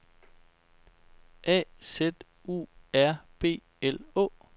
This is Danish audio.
A Z U R B L Å